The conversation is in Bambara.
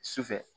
Sufɛ